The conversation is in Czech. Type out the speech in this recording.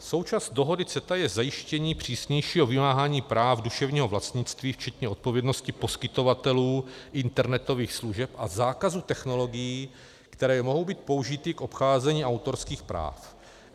Součástí dohody CETA je zajištění přísnějšího vymáhání práv duševního vlastnictví včetně odpovědnosti poskytovatelů internetových služeb a zákazu technologií, které mohou být použity k obcházení autorských práv.